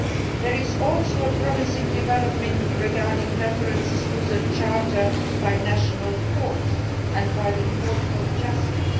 There is also a promising development regarding references to the Charter by national courts and by the Court of Justice.